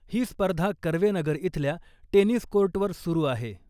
ही स्पर्धा कर्वेनगर इथल्या टेनिस कोर्टवर सुरू आहे .